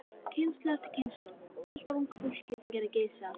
Kynslóð eftir kynslóð af ungu fólki gerði gys að